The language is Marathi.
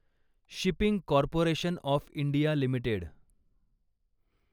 shipping corporation of India limited